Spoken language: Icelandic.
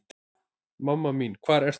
Mamma mín hvar ertu?